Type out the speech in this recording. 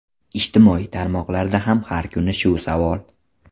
Ijtimoiy tarmoqlarda ham har kuni shu savol.